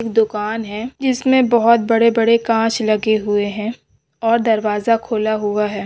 एक दोकान है जिसमें बोहत बड़े बाड़े कांच लगे हुए है। और दरवाजा खूला हूआ है।